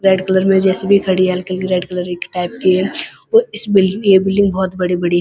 Red colour में J. C. B. खड़ी है हल्की-हल्की रेड कलर टाइप की है और इस बिल्डिंग में ये बिल्डिंग बहुत बड़ी-बड़ी।